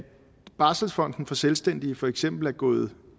barselsfonden for selvstændige for eksempel er gået